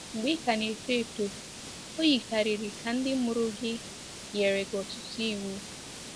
Mgbe ị ka na-eto eto, o yikarịrị ka ndị mụrụ gị nyere gị ọtụtụ iwu.